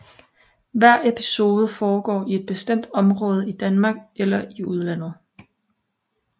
Hver episode foregår i et bestemt område i Danmark eller i udlandet